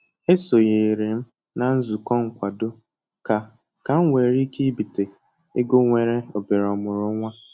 E sonyere m na nzukọ nkwado ka ka m nwere ike ibite ego nwere obere omụrụ nwa